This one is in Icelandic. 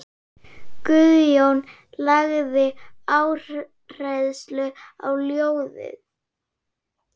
Guðjón lagði áherslu á ljóðin.